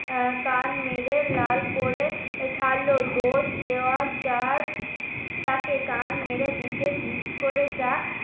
কান মেরে লাল করে ছাড়লো। দোষ দেওয়া যার যাকে কান মেরে